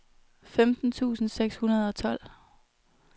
femten tusind seks hundrede og tolv